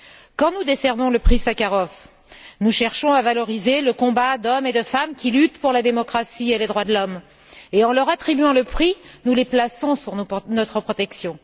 Quand nous décernons le prix Sakharov, nous cherchons à valoriser le combat d'hommes et de femmes qui luttent pour la démocratie et les droits de l'homme et en leur attribuant le prix, nous les plaçons sous notre protection.